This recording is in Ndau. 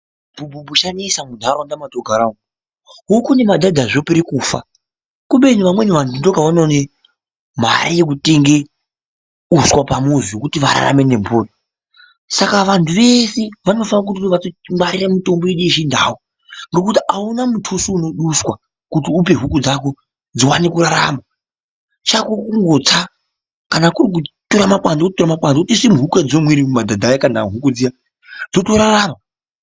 Chibhubhu chanesa mundaraunda mwatinogara umwu huku nemadhadha zvopera kufa kubeni vamweni vantu ndopavanoona mare yekutenga uswa pamuzi wekuti vararame nemhuri saka vantu veshe vanofanira kuti vatongwarira mitombo yedu yechindau ngokuti auna mutuso unoduswa kuti upe huku dzako dziwane kurarama chako kungotsa kana kuri kutora makwande wototora makwande wotoise muhuku mwadzinomwira kana madhadha ako zviya dzotorarama.